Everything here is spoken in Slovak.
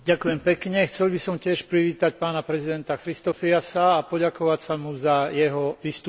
Chcel by som tiež privítať pána prezidenta Christofiasa a poďakovať sa mu za jeho vystúpenie.